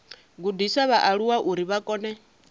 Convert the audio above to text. gudisa vhaaluwa uri vha kone